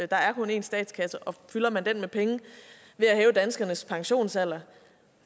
der er kun én statskasse og fylder man den med penge ved at hæve danskernes pensionsalder